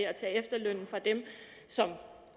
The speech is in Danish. at tage efterlønnen fra dem som